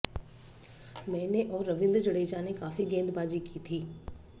मैंने और रवींद्र जडेजा ने काफी गेंदबाजी की थी